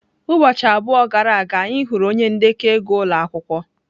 Ụbọchị abụọ gara aga, anyị hụrụ onye ndekọ ego ụlọ akwụkwọ.